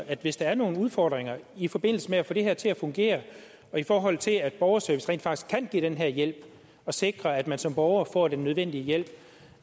at hvis der er nogle udfordringer i forbindelse med at få det her til at fungere i forhold til at borgerservice rent faktisk kan give den her hjælp og sikre at man som borger får den nødvendige hjælp